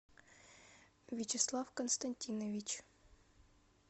вячеслав константинович